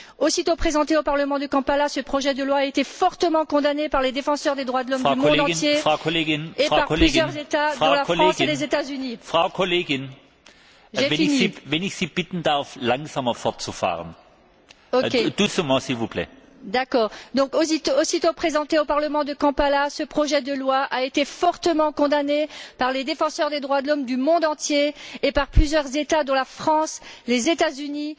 Aussitôt présenté au parlement de Kampala, ce projet de loi a été fortement condamné par les défenseurs des droits de l'homme du monde entier et par plusieurs États dont la France, les États Unis,